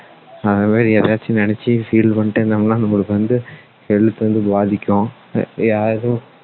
ஏதாச்சும் நினைச்சு feel பண்ணிட்டே இருந்தோம்னா நம்மளுக்கு வந்து health வந்து பாதிக்கும் அஹ் யாரும்